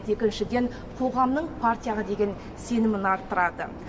екіншіден қоғамның партияға деген сенімін арттырады